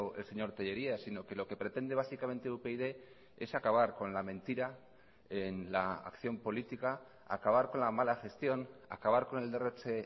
el señor tellería sino que lo que pretende básicamente upyd es acabar con la mentira en la acción política acabar con la mala gestión acabar con el derroche